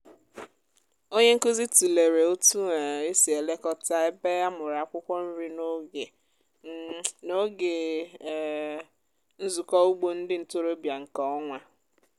onye nkuzi tụlere otu um esi elekọta ebe amụrụ akwụkwọ nri n’oge um n’oge um nzukọ ugbo ndị ntorobịa nke ọnwa.